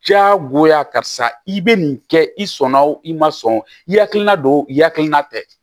Diyagoya karisa i bɛ nin kɛ i sɔn na o i ma sɔn i hakilila don o i hakilina tɛ